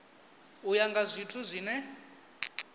u ya nga zwithu zwine